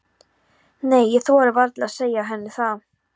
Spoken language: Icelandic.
Nei, ég þori varla að segja henni það.